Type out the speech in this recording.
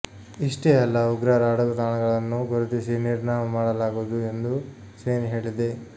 ಇಷ್ಟೇ ಅಲ್ಲ ಉಗ್ರರ ಅಡಗುತಾಣಗಳನ್ನು ಗುರುತಿಸಿ ನಿರ್ನಾಮ ಮಾಡಲಾಗುವುದು ಎಂದು ಸೇನೇ ಹೇಳಿದೆ